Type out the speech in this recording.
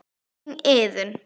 Þín Iðunn.